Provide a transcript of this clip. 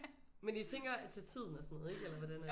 Men I tænker at til tiden og sådan noget ikke eller hvordan er det